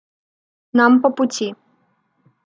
нам по пути